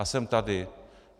A jsem tady.